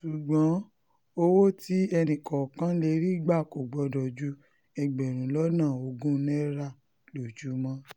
ṣùgbọ́n o owó tí ẹnìkọ̀ọ̀kan lè rí gbà kò gbọ́dọ̀ ju ẹgbẹ̀rún lọ́nà ogún náírà lójúmọ́